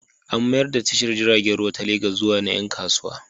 An mayar da tashar jiragen ruwa ta Legas zuwa ta ƴan kasuwa.